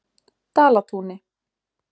Dalatúni